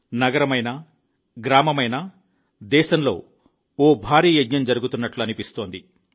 నగరమైనా గ్రామమైనా దేశంలో ఒక భారీ మహా యజ్ఞం జరుగుతున్నట్లు అనిపిస్తుంది